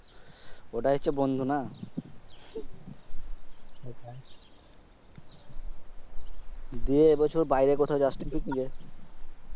ওটাই হচ্ছে বন্ধু না? দে এই বছর বাইরে কথাও যাসনি?